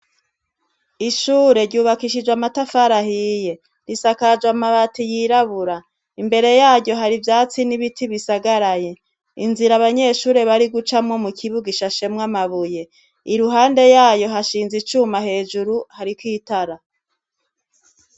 Ishure ryubakishijwe amatafari ahiye . Risakajwe amabati yirabura. Imbere yaryo hari ivyatsi n' ibiti bisagaraye . Inzira abanyeshure bari gucamwo mu kibuga ishashemwo amabuye. Iruhande yayo hashinze icuma hejuru, hariko itara.